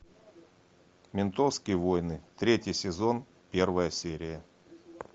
ментовские войны третий сезон первая серия